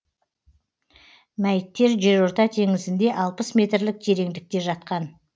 мәйіттер жерорта теңізінде алпыс метрлік тереңдікте жатқан